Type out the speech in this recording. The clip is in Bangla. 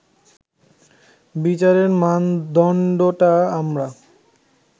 বিচারের মানদণ্ডটা আমরা